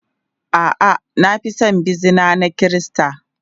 A'a, na fi son bizina na Kirista.